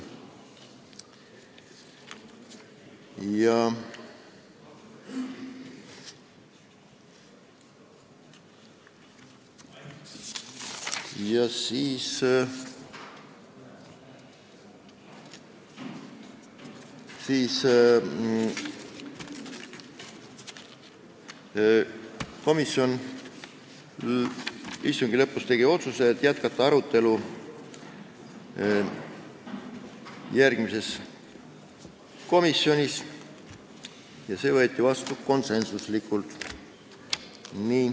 Komisjon tegi istungi lõpus otsuse jätkata arutelu järgmisel istungil, see otsus võeti vastu konsensuslikult.